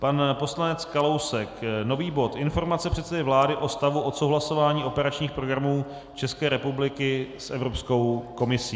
Pan poslanec Kalousek, nový bod: Informace předsedy vlády o stavu odsouhlasování operačních programů České republiky s Evropskou komisí.